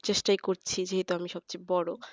সেই চেষ্টাই করছি যেহেতু আমি সবচেয়ে বড়